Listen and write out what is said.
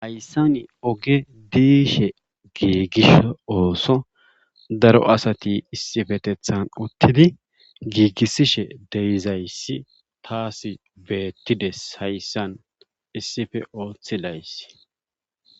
Hayssan oge diishe giigiso ooso daro asati issifetethan uttidi giigisidayssi taassi beettides hayssan issife oothidayssi.